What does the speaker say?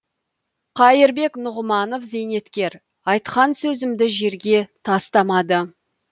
қайырбек нұғыманов зейнеткер айтқан сөзімді жерге тастамады